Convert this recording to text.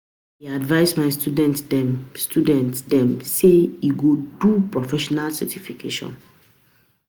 I dey advice my student dem sey e good do professional certification.